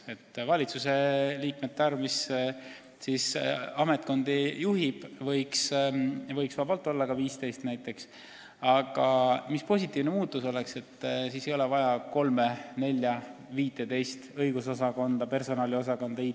Selle valitsuse liikmete arv, kes siis ametkondi juhib, võiks olla näiteks 15, aga positiivne muutus oleks, et siis ei oleks vaja kolme, nelja, viitteist õigusosakonda, personaliosakonda, IT-osakonda.